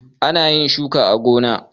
Ana yin shuka a gona.